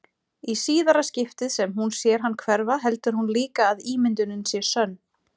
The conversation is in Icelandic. Í síðara skiptið sem hún sér hann hverfa heldur hún líka að ímyndunin sé sönn.